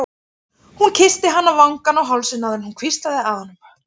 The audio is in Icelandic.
Hún kyssti hann á vangann og hálsinn áður en hún hvíslaði að honum